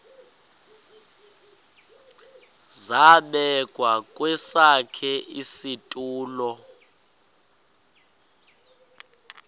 zabekwa kwesakhe isitulo